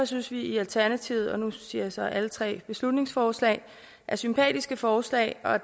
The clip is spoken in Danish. synes vi i alternativet at og nu siger jeg så alle tre beslutningsforslag er sympatiske forslag og